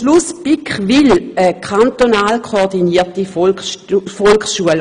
Die BiK will eine kantonal koordinierte Volksschule.